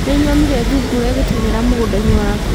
Nĩnyonire thungura igĩteng'era mũgũnda-inĩ waku